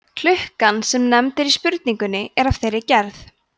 klukkan sem nefnd er í spurningunni er af þeirri gerð